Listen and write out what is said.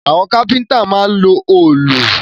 Àwọn kápẹ́ntà máa ń lo òòlù